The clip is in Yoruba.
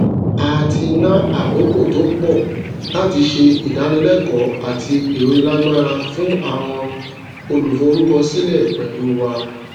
a tí ná àkókò tó pọ láti se ìdánilékòó àti ironilagbara fún àwọn oluforukosike pẹlu wa